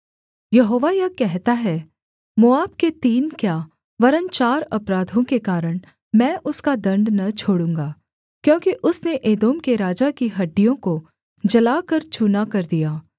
यहोवा यह कहता है मोआब के तीन क्या वरन् चार अपराधों के कारण मैं उसका दण्ड न छोड़ूँगा क्योंकि उसने एदोम के राजा की हड्डियों को जलाकर चूना कर दिया